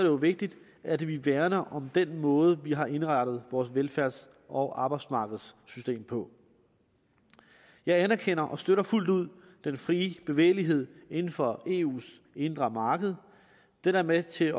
jo vigtigt at vi værner om den måde vi har indrettet vores velfærds og arbejdsmarkedssystem på jeg anerkender og støtter fuldt ud den frie bevægelighed inden for eus indre marked den er med til